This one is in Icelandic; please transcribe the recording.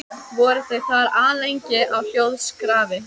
Voru þau þar alllengi á hljóðskrafi.